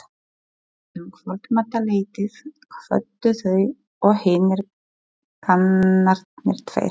Um kvöldmatarleytið kvöddu þau og hinir kanarnir tveir.